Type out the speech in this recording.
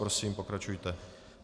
Prosím, pokračujte.